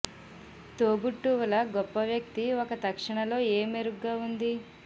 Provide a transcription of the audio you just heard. తోబుట్టువుల గొప్ప వ్యక్తి ఒక తక్షణ లో ఏ మెరుగ్గా ఉంది